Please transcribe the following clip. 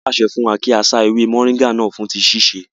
Wọ́n pàṣẹ fún wa kí á sá ewé mọ̀nríngà náà fún tíì síse